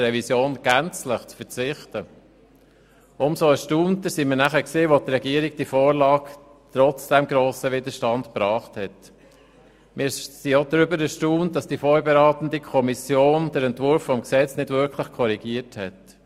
Umso mehr hat uns dann erstaunt, dass die Regierung die Vorlage trotz dem grossen Widerstand gebracht und die vorberatende Kommission den Entwurf des Gesetzes nicht wirklich korrigiert hat.